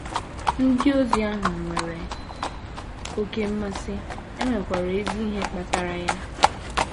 Ndị ozi ahụ nwere oké mmasị, e nwekwara ezi ihe kpatara ya.